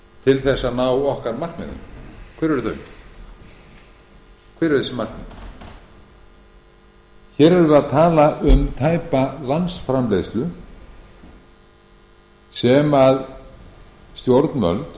til þess að ná okkar markmiðum hver eru þau hver eru þessi markmið hér erum við að tala um tæpa landsframleiðslu sem stjórnvöld